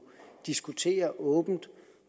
diskutere åbent